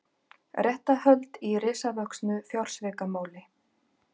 Réttarhöld í risavöxnu fjársvikamáli